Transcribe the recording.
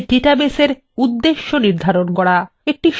একটি সহজ গ্রন্থাগার application নিয়ে আলোচনা করা যাক